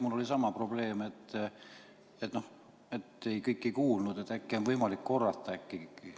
Mul oli sama probleem – kõike ei kuulnud, äkki on võimalik korrata.